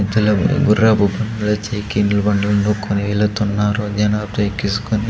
మధ్యలో గుర్రపు మళ్ళా సైకిల్ బండ్లను కొన్ని వెలుతున్నారు జనాలు ఎక్కిసుకొని.